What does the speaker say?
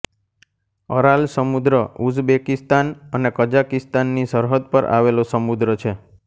Aral સમુદ્ર Uzbekistan અને કઝાકિસ્તાનની સરહદ પર આવેલો સમુદ્ર છે